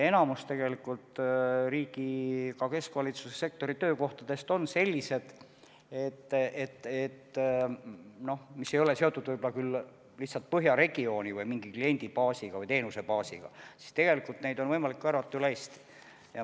Enamik riigi-, ka keskvalitsuse sektori töökohtadest on sellised, mis ei ole seotud lihtsalt põhjaregiooni või mingi kliendibaasiga või teenusebaasiga, ja sinna on võimalik värvata inimesi üle Eesti.